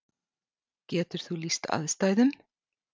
Getur þú lýst aðstæðum?